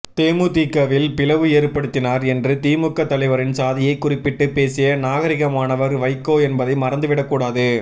தேமுதிகவில் பிளவு ஏற்படுத்தினார் என்று திமுக தலைவரின் சாதியை குறிப்பிட்டு பேசிய நாகரிகமானவர் வைகோ என்பதை மறந்து விடக் கூடாது